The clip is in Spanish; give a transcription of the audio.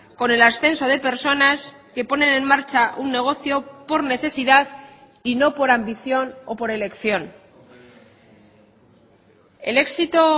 con el ascenso de personas que ponen en marcha un negocio por necesidad y no por ambición o por elección el éxito